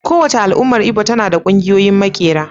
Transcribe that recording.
Kowace al'ummar Igbo tana da ƙungiyoyin maƙera.